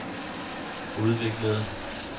udviklede